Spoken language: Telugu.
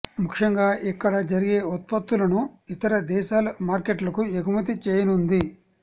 ముఖ్యంగా ఇక్కడ జరిగే ఉత్పత్తులను ఇతర దేశాల మార్కెట్లకు ఎగుమతి చేయనుంది